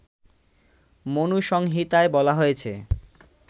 মনুসংহিতায় বলা হয়েছে